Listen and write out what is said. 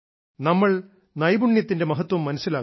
നമ്മൾ നൈപുണ്യത്തിന്റെ മഹത്വം മനസ്സിലാക്കും